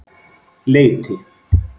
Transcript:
Leiti